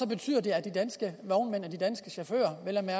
betyder at de danske vognmænd og de danske chauffører ender med